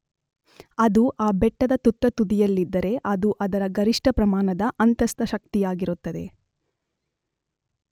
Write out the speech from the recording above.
ಅದು ಆ ಬೆಟ್ಟದ ತುತ್ತ ತುದಿಯಲ್ಲಿದ್ದರೆ ಅದು ಅದರ ಗರಿಷ್ಠ ಪ್ರಮಾನದ ಅಂತಸ್ಥ ಶಕ್ತಿಯಾಗಿರುತ್ತದೆ.